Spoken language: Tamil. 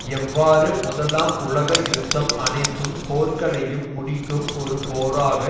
எவ்வாறு முதலாம் உலக யுத்தம் அனைத்து போர்களையும் முடிக்கும் ஒரு போராக